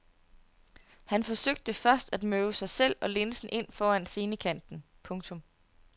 Han forsøgte først at møve sig selv og linsen ind foran scenekanten. punktum